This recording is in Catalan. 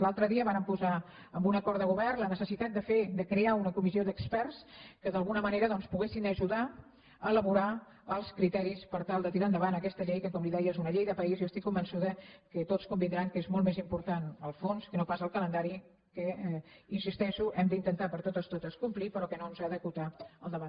l’altre dia vàrem posar en un acord de govern la necessitat de fer de crear una comissió d’experts que d’alguna manera doncs poguessin ajudar a elaborar els criteris per tal de tirar endavant aquesta llei que com li deia és una llei de país i estic convençuda que tots convindran que és molt més important el fons que no pas el calendari que hi insisteixo hem d’intentar de totes totes complir però que no ens ha d’acotar el debat